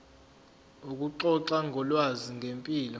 ukuxoxa ngolwazi ngempilo